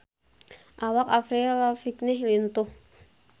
Awak Avril Lavigne lintuh